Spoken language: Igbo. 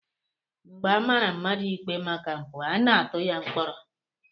Mgbe a mara mmadụ ikpe maka mpụ, a na-atụ ya mkpọrọ